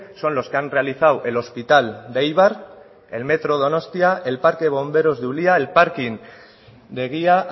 son los que han realizado el hospital de eibar el metro donostia el parque de bomberos de ulia el parking de egia